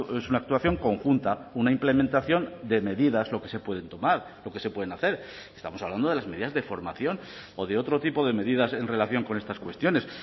es una actuación conjunta una implementación de medidas lo que se pueden tomar lo que se pueden hacer estamos hablando de las medidas de formación o de otro tipo de medidas en relación con estas cuestiones